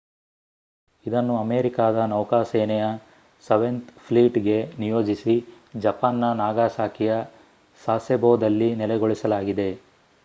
ಇದನ್ನು ಅಮೇರಿಕಾದ ನೌಕಾ ಸೇನೆಯ ಸೆವೆನ್ತ್ ಫ್ಲೀಟ್‍‌ಗೆ ನಿಯೋಜಿಸಿ ಜಪಾನ್‌ನ ನಾಗಾಸಾಕಿಯ ಸಾಸೆಬೋದಲ್ಲಿ ನೆಲೆಗೊಳಿಸಲಾಗಿದೆ